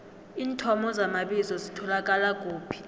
iinthomo zamabizo zitholakala kuphi